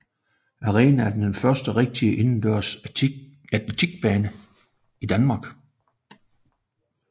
Arenaen er den første rigtige indendørs atletikbane i Danmark